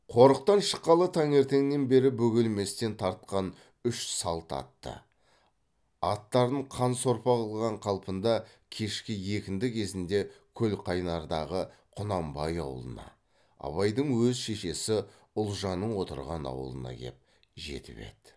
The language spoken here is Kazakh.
қорықтан шыққалы таңертеңнен бері бөгелместен тартқан үш салт атты аттарын қан сорпа қылған қалпында кешкі екінді кезінде көлқайнардағы құнанбай аулына абайдың өз шешесі ұлжанның отырған аулына кеп жетіп еді